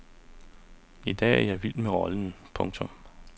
I dag er jeg vild med rollen. punktum